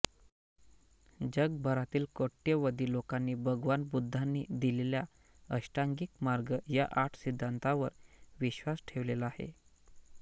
जगभरातील कोट्यवधी लोकांनी भगवान बुद्धांनी दिलेल्या अष्टांगिक मार्ग या आठ सिद्धान्तांवर विश्वास ठेवलेला आहे